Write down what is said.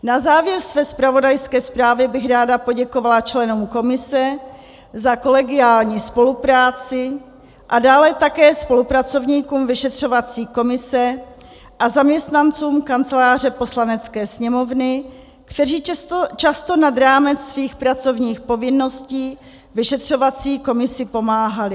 Na závěr své zpravodajské zprávy bych ráda poděkovala členům komise za kolegiální spolupráci a dále také spolupracovníkům vyšetřovací komise a zaměstnancům Kanceláře Poslanecké sněmovny, kteří často nad rámec svých pracovních povinností vyšetřovací komisi pomáhali.